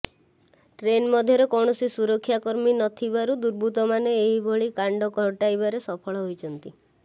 train ମଧ୍ୟରେ କୌଣସି ସୁରକ୍ଷାକର୍ମୀ ନଥିବାରୁ ଦୁର୍ବୃତ୍ତମାନେ ଏଭଳି କାଣ୍ଡ ଘଟାଇବାରେ ସଫଳ ହୋଇଛନ୍ତି